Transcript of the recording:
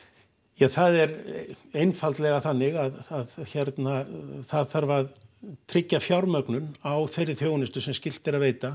ja það er einfaldlega þannig að það þarf að tryggja fjármögnun á þeirri þjónustu sem skylt er að veita